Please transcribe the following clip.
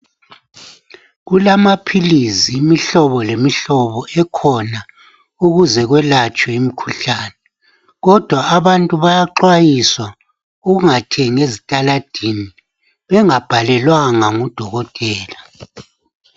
Kulamaphilisi imihlobo lemihlobo ekhona ukuze kwelatshwe imikhuhlane kodwa abantu bayaxwayiswa ukungathengi ezitaladini bengabhalelwanga ngudokotela.